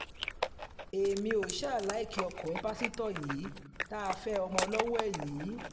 èmi ò ṣáà láìkí ọkùnrin pásítọ̀ tá a fẹ́ ọmọ lọ́wọ́ ẹ̀ yìí